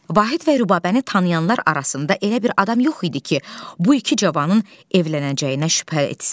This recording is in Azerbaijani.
Vahid və Rübabəni tanıyanlar arasında elə bir adam yox idi ki, bu iki cavanın evlənəcəyinə şübhə etsin.